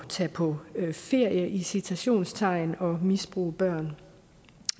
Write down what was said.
tage på ferie i citationstegn og misbruge børn